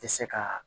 Tɛ se ka